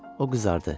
O qızardı.